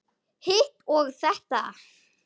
Hitt og þetta.